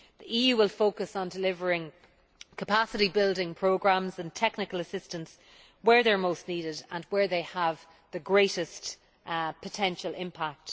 The EU will focus on delivering capacity building programmes and technical assistance where they are most needed and where they have the greatest potential impact.